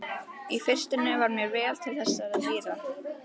Í fyrstunni var mér vel til þessara dýra.